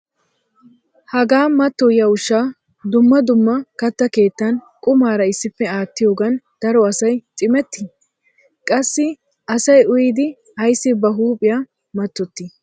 Hagaa mattoyiya ushshaa dumma dumma katta keettan qumaara issippe aattiyoogan daro asay cimmetti? Qassi asay uyyidi ayssi ba huuphiya matoti?